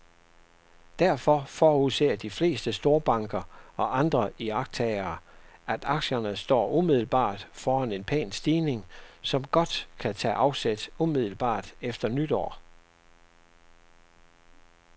Derfor forudser de fleste storbanker og andre iagttagere, at aktierne står umiddelbart foran en pæn stigning, som godt kan tage afsæt umiddelbart efter nytår.